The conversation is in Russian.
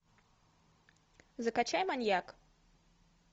закачай маньяк